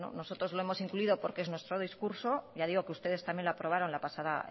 bueno nosotros lo hemos incluido porque es nuestro discurso ya digo que ustedes también la aprobaron la pasada